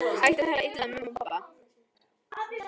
Hættu að tala illa um mömmu og pabba!